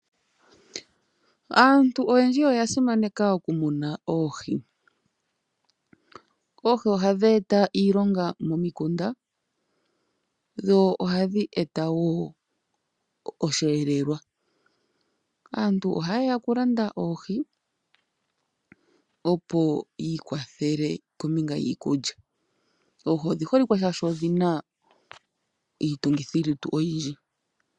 Aantu oyendji oya simaneka oku muna oohi. Oohi ohadhi eta iilonga momikunda dho ohadhi eta wo osheelelwa. Aantu oha ye ya okulanda oohi opo yi ikwathele kombinga yiikulya . Oohi odhi holikwe shaashi odhina iitumgithi lutu oyindji.